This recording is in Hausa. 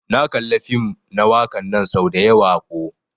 Na kalla fim na wakan nan sau dayawa ko.